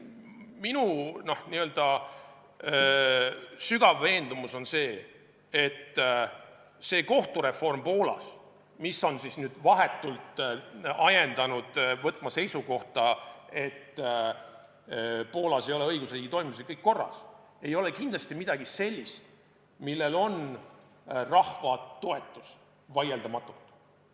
Minu sügav veendumus on see, et kohtureform Poolas, mis on nüüd vahetult ajendanud võtma seisukohta, et Poolas ei ole õigusriigi toimimisega kõik korras, ei ole kindlasti midagi sellist, millel on vaieldamatu rahva toetus.